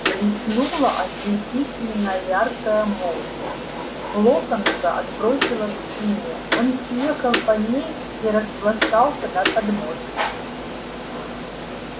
блеснула ослепительно яркая молния локонса отбросило к стене он съехал по ней и распластался на подмостках